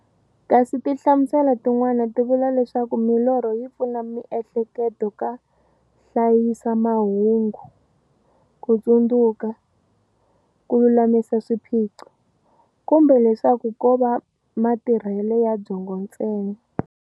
Kasi tinhlamuselo tin'wana ti vula leswaku milorho yi pfuna miehleketo ka hlayisa mahungu, ku tsundzuka, ku lulamisa swiphiqo, kumbe leswaku kova matirhele ya byongo ntsena.